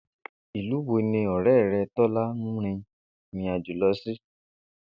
Ìlú wo ni ò̩ré̩ re̩ Tó̩lá rin ìrìnàjò lo̩ sí?